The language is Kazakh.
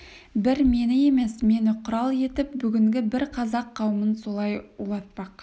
бір мені емес мені құрал етіп бүгінгі бар қазақ қауымын солай улатпақ